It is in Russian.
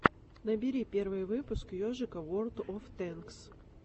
набери первый выпуск ежика ворлд оф тэнкс